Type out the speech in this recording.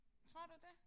Tror du det?